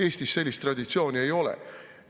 Eestis sellist traditsiooni ei ole.